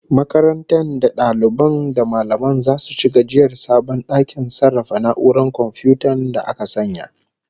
Makarantar da dalibai da mallamai zasu ci gajiyar sabon dakin sarrafa na'urar komfiyuta da aka sanya